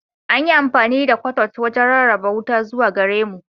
An yi amfani da "cutout" wajen rarraba wuta zuwa gare mu.